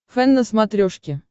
фэн на смотрешке